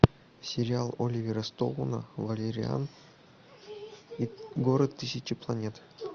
сериал оливера стоуна валериан и город тысячи планет